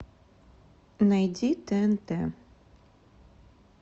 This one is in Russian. найди тнт